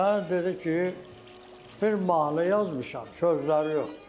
Mənə dedi ki, bir mahnı yazmışam, sözləri yoxdur.